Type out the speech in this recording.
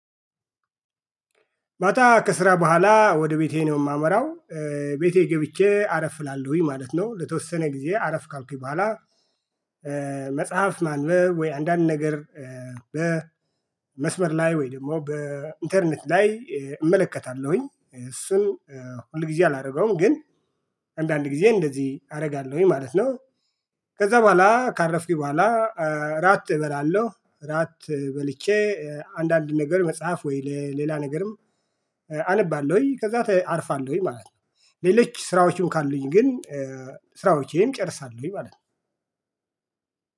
ማታ ከስራ በኋላ ወደ ቤቴ ነው የማመራው። ቤቴ ገብቼ አረፍ እላለሁኝ ማለት ነው ለተወሰነ ጊዜ አረፍ ካልኩኝ በኋላ። መጽሐፍ ማንበብ ወይ አንዳንድ ነገር በመስመር ላይ ወይ ደግሞ በኢንተርኔት ላይ እመለከታለሁኝ እሱን ሁል ጊዜ አላደርገውም ግን አንዳንድ ጊዜ እንደዚህ አደርጋለሁኝ ማለት ነው። ከዛ በኋላ ካረፍኩኝ በኋላ። እራት እበላለሁ እራት በልቼ አንዳንድ ነገር መጽሐፍ ወይ ሌላ ነገርም። አነባለሁኝ ከዛ አርፋለሁኝ ማለት ነው። ሌሎች ስራዎችንም ካሉኝ ግን ስራዎች ይሄም ይጨርሳል ወይ ማለት ነው።